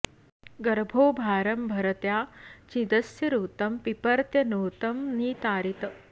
गर्भो॑ भा॒रं भ॑र॒त्या चि॑दस्य ऋ॒तं पिप॒र्त्यनृ॑तं॒ नि ता॑रीत्